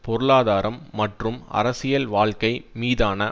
பொருளாதாரம் மற்றும் அரசியல் வாழ்க்கை மீதான